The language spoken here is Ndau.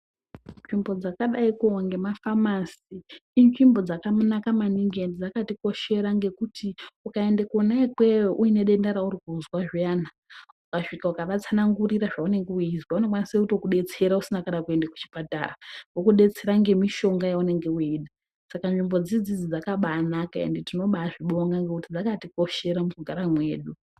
Nzvimbo dzakadaiko ngemafamasi inzvimbo dzakanaka maningi ende dzakatikoshera ngekuti ukaenda kwona ikweyo uine denda rauri kuzwa zviyana ukasvika ukavatsanangurira zvaunenge kuzwa vanokwanisa kutokudetsera kana usina kuenda kuchipatara. Vokudetsera ngemishonga yaunenge weida Saka nzvimbo dzidzi dzakabanana ende tinobazvibonga ngekuti dzakatikoshera mukugara kwedu.